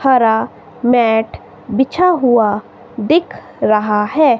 हरा मैट बिछा हुआ दिख रहा है।